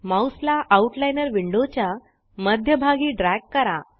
mouse ला outliner window च्या मध्य भागी ड्रॅग करा